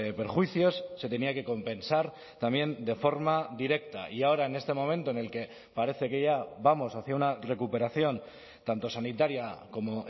perjuicios se tenía que compensar también de forma directa y ahora en este momento en el que parece que ya vamos hacia una recuperación tanto sanitaria como